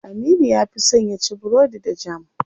Aminu ya fi son yaci burodi da jam.